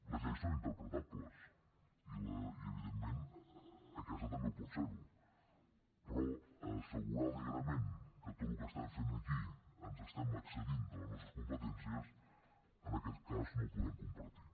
les lleis són interpretables i evidentment aquesta també ho pot ser però assegurar alegrament que en tot el que estem fent aquí ens estem excedint de les nostres competències en aquest cas no ho podem compartir